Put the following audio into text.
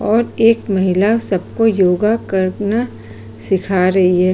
और एक महिला सबको योगा करना सीखा रही है।